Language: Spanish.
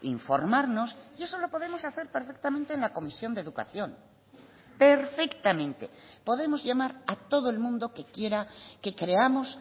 informarnos y eso lo podemos hacer perfectamente en la comisión de educación perfectamente podemos llamar a todo el mundo que quiera que creamos